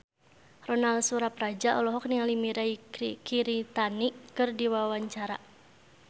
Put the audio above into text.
Ronal Surapradja olohok ningali Mirei Kiritani keur diwawancara